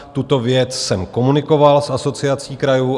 Tuto věc jsem komunikoval s Asociací krajů.